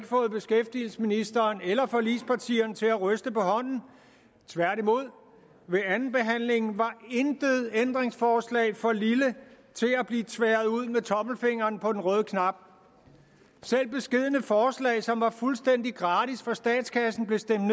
fået beskæftigelsesministeren eller forligspartierne til at ryste på hånden tværtimod ved andenbehandlingen var intet ændringsforslag for at blive tværet ud med tommelfingeren på den røde knap selv beskedne forslag som var fuldstændig gratis for statskassen blev stemt